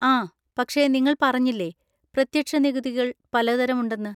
ആ, പക്ഷെ നിങ്ങൾ പറഞ്ഞില്ലേ പ്രത്യക്ഷ നികുതികൾ പലതരം ഉണ്ടെന്ന്?